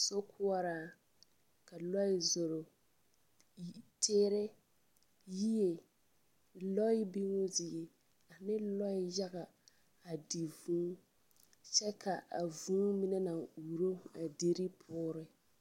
Sokoɔraa, ka lɔɛ zoro, yi… teere, yie lɔɛ biguu zie ane lɔɛ yaga adi vũũ. kyɛ ka vũũ mine naŋ uuro a deri poore.